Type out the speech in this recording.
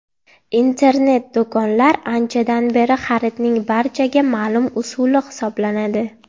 Internet-do‘konlar anchadan beri xaridning barchaga ma’lum usuli hisoblanadi.